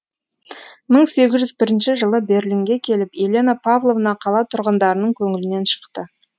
мың сегіз жүз бірінші жылы берлинге келіп елена павловна қала тұрғындарының көңілінен шықты